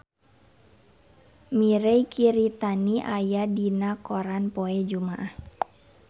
Mirei Kiritani aya dina koran poe Jumaah